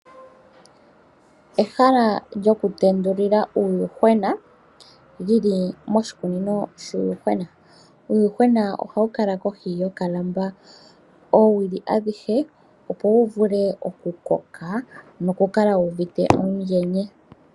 Ehala lyoku tendulila uuyehwena lyili moshikunino shuuyuhwena. Uuyuhwena ohawu kala kohi yoka lamba oowili adhihe, opo wu vule oku koka noku kala wuuvite uundjene.